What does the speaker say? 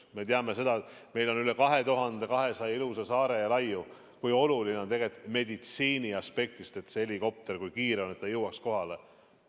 Me teame, sest meil on üle 2200 ilusa saare ja laiu, kui oluline on meditsiiniaspektist, kui kiire on see helikopter, et ta jõuaks kohale.